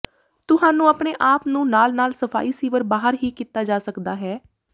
ਤੁਹਾਨੂੰ ਆਪਣੇ ਆਪ ਨੂੰ ਨਾਲ ਨਾਲ ਸਫਾਈ ਸੀਵਰ ਬਾਹਰ ਹੀ ਕੀਤਾ ਜਾ ਸਕਦਾ ਹੈ